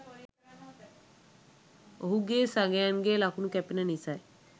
ඔහුගේ සගයන් ගේ ලකුණු කැපෙන නිසයි